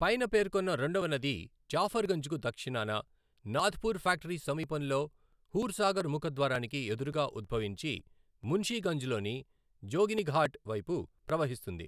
పైన పేర్కొన్న రెండవ నది జాఫర్గంజ్కు దక్షిణాన, నాథ్పూర్ ఫ్యాక్టరీ సమీపంలో హూర్సాగర్ ముఖద్వారానికి ఎదురుగా ఉద్భవించి, మున్షిగంజ్లోని జోగినిఘాట్ వైపు ప్రవహిస్తుంది.